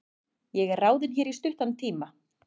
Ég er ráðinn hér í stuttan tíma.